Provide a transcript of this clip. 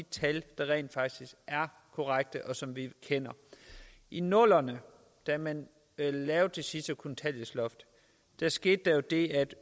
tal der rent faktisk er korrekte og som vi kender i nullerne da man lavede det sidste kontanthjælpsloft skete der jo det at